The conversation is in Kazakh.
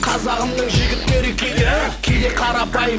қазағымның жігіттері кейде кейде қарапайым